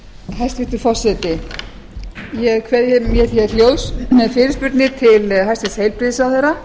hæstvirtur forseti ég kveð mér hljóðs með fyrirspurnir til hæstvirts heilbrigðisráðherra